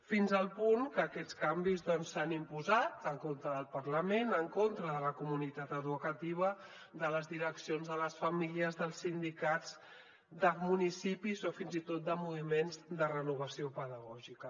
fins al punt que aquests canvis doncs s’han imposat en contra del parlament en contra de la comunitat educativa de les direccions de les famílies dels sindicats de municipis o fins i tot de moviments de renovació pedagògica